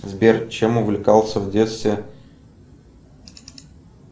сбер чем увлекался в детстве